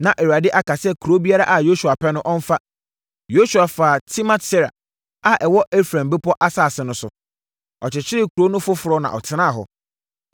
Na Awurade aka sɛ kuro biara a Yosua pɛ no, ɔmfa. Yosua faa Timmat-Sera a ɛwɔ Efraim bepɔ asase no so. Ɔkyekyeree kuro no foforɔ na ɔtenaa hɔ.